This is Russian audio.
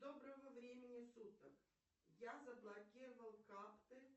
доброго времени суток я заблокировал карты